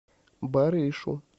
барышу